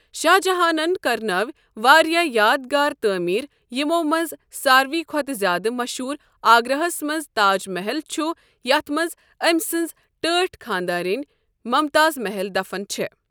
شاہ جہانن کرناوِ واریاہ یاد گارٕ تعمیٖر یِِمو منٛزٕ سارِوٕے کھۄتہٕ زیادٕ مٔشہوٗر آگراہس منز تاج محل چھ یتھ منٛز أمۍ سٕنٛز ٹٲٹھ خانٛدارنۍ ممتاز محل دفن چھےٚ۔